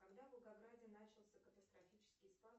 когда в волгограде начался катастрофический спад